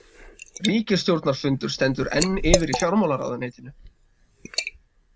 Ríkisstjórnarfundur stendur enn yfir í fjármálaráðuneytinu